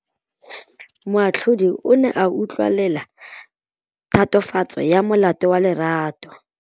Moatlhodi o ne a utlwelela tatofatsô ya molato wa Lerato.